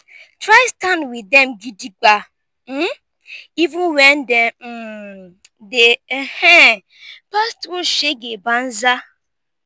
try stand wit dem gidigba um even wen dem um dey um pass thru shege banza